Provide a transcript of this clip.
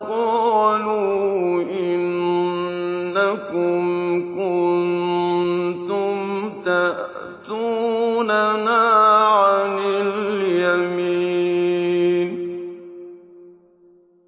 قَالُوا إِنَّكُمْ كُنتُمْ تَأْتُونَنَا عَنِ الْيَمِينِ